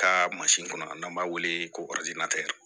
Ka kɔnɔ n'an b'a wele ko